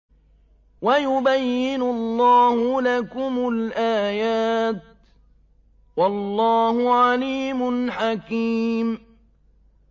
وَيُبَيِّنُ اللَّهُ لَكُمُ الْآيَاتِ ۚ وَاللَّهُ عَلِيمٌ حَكِيمٌ